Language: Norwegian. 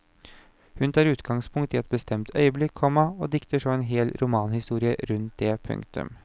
Hun tar utgangspunkt i ett bestemt øyeblikk, komma og dikter så en hel romanhistorie rundt det. punktum